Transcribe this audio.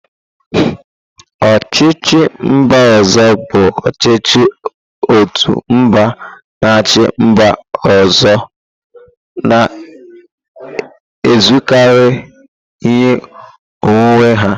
Ochichi mba ozo bụ ọchịchị otu mba na-achị mba ọzọ, na-ezukarị ihe onwunwe ha.